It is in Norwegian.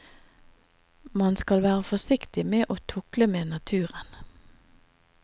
Man skal være forsiktig med å tukle med naturen.